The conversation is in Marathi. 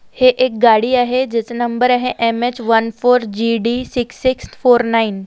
है एक गाड़ी आहे जिस नंबर आहे M H one four G D six six four nine .